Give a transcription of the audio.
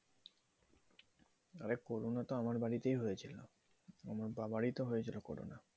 আরে corona তাে আমার বাড়িতে হয়েছিলো আমার বাবারি তো হয়েছিলো corona